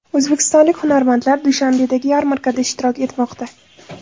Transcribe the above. O‘zbekistonlik hunarmandlar Dushanbedagi yarmarkada ishtirok etmoqda.